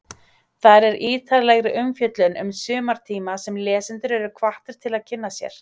Þar er ítarlegri umfjöllun um sumartíma sem lesendur eru hvattir til að kynna sér.